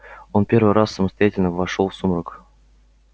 он первый раз самостоятельно вошёл в сумрак